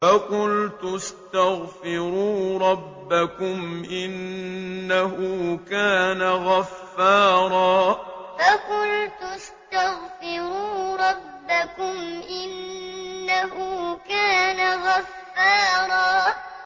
فَقُلْتُ اسْتَغْفِرُوا رَبَّكُمْ إِنَّهُ كَانَ غَفَّارًا فَقُلْتُ اسْتَغْفِرُوا رَبَّكُمْ إِنَّهُ كَانَ غَفَّارًا